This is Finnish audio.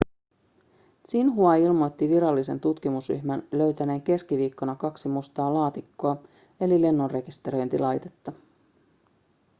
xinhua ilmoitti virallisen tutkimusryhmän löytäneen keskiviikkona kaksi mustaa laatikkoa eli lennonrekisteröintilaitetta